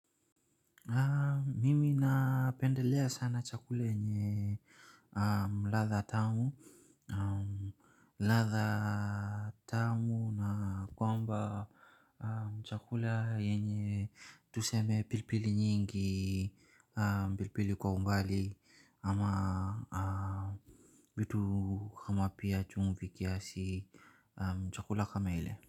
Mimi napendelea sana chakula yenye latha tamu latha tamu na kwamba chakula yenye tuseme pilpili nyingi pilpili kwa umbali ama vitu kama pia chumvi kiasi naam chakula kama ile.